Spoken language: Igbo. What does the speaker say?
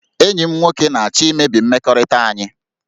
Enyi m nwoke na-achọ imebi mmekọrịta anyị